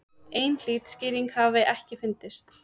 Einhlít skýring hafi ekki fundist.